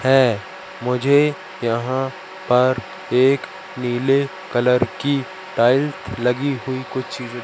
है मुझे यहां पर एक नीले कलर की टाइल्स लगी हुई कुछ ची--